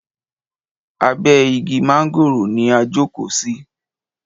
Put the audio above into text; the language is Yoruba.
Abe igi mángòrò ni a jókò sí.